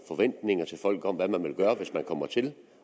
forventninger om hvad man vil gøre hvis man kommer til